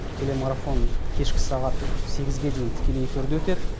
телемарафон кешкі сағат сегізге дейін тікелей эфирде өтеді